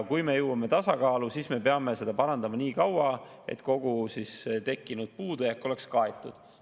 Kui me jõuame tasakaalu, siis me peame seda parandama nii kaua, kuni kogu tekkinud puudujääk on kaetud.